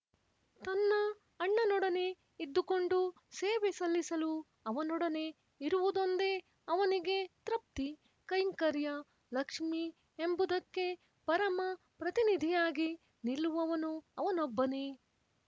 ತನ್ನ ಅಣ್ಣನೊಡನೆ ಇದ್ದುಕೊಂಡು ಸೇವೆ ಸಲ್ಲಿಸಲು ಅವನೊಡನೆ ಇರುವುದೊಂದೇ ಅವನಿಗೆ ತೃಪ್ತಿ ಕೈಂಕರ್ಯ ಲಕ್ಷ್ಮಿ ಎಂಬುದಕ್ಕೆ ಪರಮ ಪ್ರತಿನಿಧಿಯಾಗಿ ನಿಲ್ಲುವವನು ಅವನೊಬ್ಬನೇ